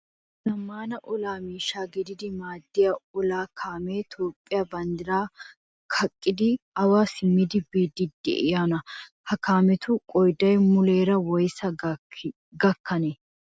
Zammaana olaa miishsha gididi maaddiya olaa kaamee Toophphiya banddiraa kaqqidi awa simmidi biiddi diyoonaa? Ha kaametu qoodayi muleera woyisaa gakkanee?